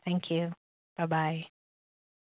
thank you bye bye